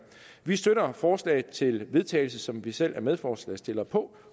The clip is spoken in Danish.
vi støtter forslaget til vedtagelse som vi selv er medforslagsstillere på